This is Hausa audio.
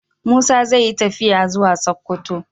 Musa zai yi tafiya zuwa sokoto